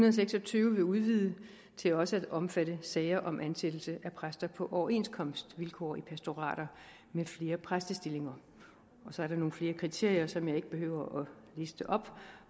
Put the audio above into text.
og seks og tyve vil udvide det til også at omfatte sager om ansættelse af præster på overenskomstvilkår i pastorater med flere præstestillinger og så er der nogle flere kriterier som jeg ikke behøver at liste op